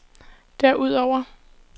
derudover